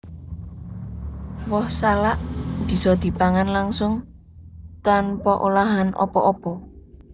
Woh salak bisa dipangan langsung tanpa olahan apa apa